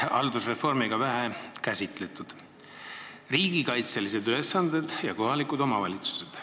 Haldusreformiga seoses on vähe käsitletud seda teemat: riigikaitselised ülesanded ja kohalikud omavalitsused.